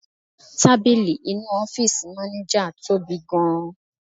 Tábìlì inú ọ́fíìsì maneja tóbi gan-an.